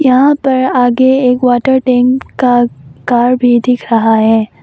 यहां पर आगे एक वाटर टैंक का कार भी दिख रहा है।